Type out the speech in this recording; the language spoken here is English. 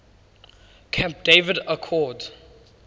camp david accords